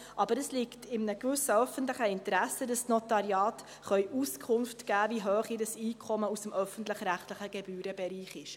Aber es liegt in einem gewissen öffentlichen Interesse, dass die Notariate Auskunft geben können, wie hoch ihr Einkommen aus dem öffentlich-rechtlichen Gebührenbereich ist.